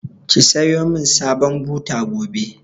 Ki sayo man sabon buta gobe!